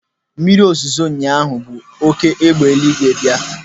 Mmiri zoro ụnyaahụ bu oké egbe eluigwe bịa.